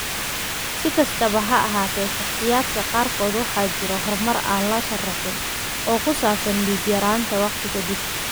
Si kastaba ha ahaatee, shakhsiyaadka qaarkood waxaa jira horumar aan la sharraxin oo ku saabsan dhiig-yaraanta waqti ka dib.